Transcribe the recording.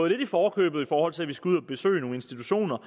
lidt i forkøbet i forhold til at vi skal ud at besøge nogle institutioner